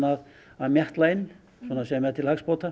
að mjatla inn sem er til hagsbóta